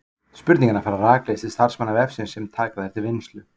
Spurningarnar fara rakleiðis til starfsmanna vefsins sem taka þær til vinnslu.